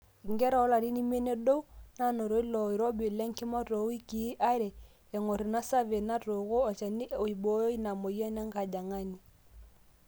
inkera oolarin imiet nedou naanoto ilo oirobi lenkima toowikii are eng'or ina survey natooko olchani oibooyo ina mweyian enkajang'ani